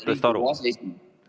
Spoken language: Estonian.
Tänan, härra Kruusimäe!